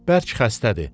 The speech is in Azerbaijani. Bərk xəstədir.